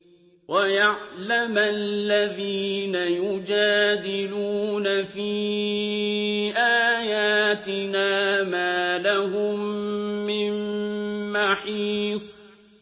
وَيَعْلَمَ الَّذِينَ يُجَادِلُونَ فِي آيَاتِنَا مَا لَهُم مِّن مَّحِيصٍ